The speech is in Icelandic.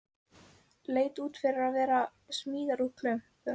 Leit út fyrir að vera smíðað úr klumpum.